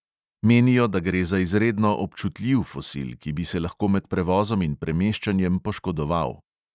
Menijo, da gre za izredno občutljiv fosil, ki bi se lahko med prevozom in premeščanjem poškodoval.